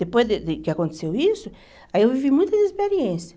Depois de de que aconteceu isso, aí eu vivi muitas experiências.